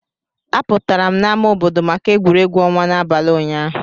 Apụtara m na ámá obodo maka egwuregwu ọnwa n'abalị ụnyaahụ.